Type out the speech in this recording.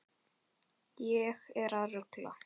Ég er að rugla.